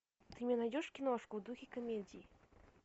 ты мне найдешь киношку в духе комедии